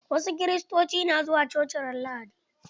Wasu Kiristoci na zuwa coci ran lahadi.